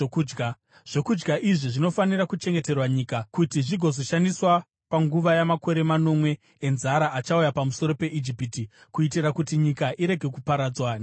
Zvokudya izvi zvinofanira kuchengeterwa nyika, kuti zvigozoshandiswa panguva yamakore manomwe enzara achauya pamusoro peIjipiti, kuitira kuti nyika irege kuparadzwa nenzara.”